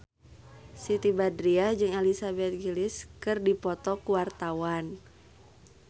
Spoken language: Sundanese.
Siti Badriah jeung Elizabeth Gillies keur dipoto ku wartawan